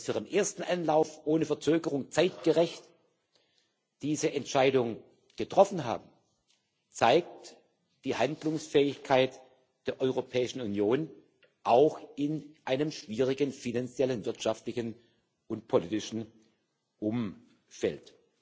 Dass wir im ersten Anlauf ohne Verzögerung zeitgerecht diese Entscheidung getroffen haben, zeigt die Handlungsfähigkeit der Europäischen Union auch in einem schwierigen finanziellen wirtschaftlichen und politischen Umfeld.